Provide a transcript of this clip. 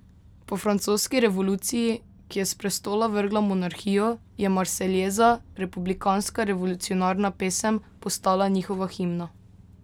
Po francoski revoluciji, ki je s prestola vrgla monarhijo, je marseljeza, republikanska revolucionarna pesem, postala njihova himna.